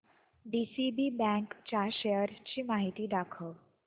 DCB bank च्या शेअर्स ची माहिती दाखव